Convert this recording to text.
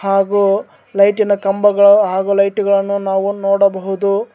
ಹಾಗು ಲೈಟಿನ ಕಂಬಗಳನ್ನು ಹಾಗು ಲೈಟ್ ಗಳನ್ನು ನೋಡಬಹುದು.